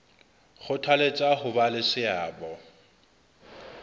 kgothaletsa ho ba le seabo